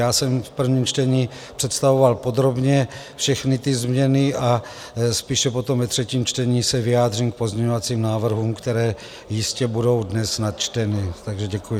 Já jsem v prvním čtení představoval podrobně všechny ty změny a spíše potom ve třetím čtení se vyjádřím k pozměňovacím návrhům, které jistě budou dnes načteny, takže děkuji.